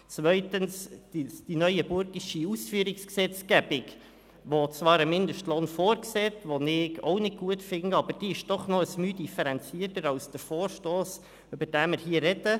Zweitens: Die neuenburgische Ausführungsgesetzgebung – die zwar einen Mindestlohn vorsieht, was ich auch nicht gut finde – ist aber doch noch ein My differenzierter als der Vorstoss, über den wir hier sprechen.